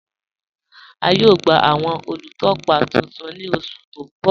A yóò gba awọn olútọ́pá tuntun ní ọṣù tí n bọ̀.